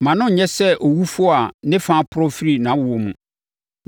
Mma no nyɛ sɛ owufoɔ a ne fa aporɔ firi nʼawoɔ mu.”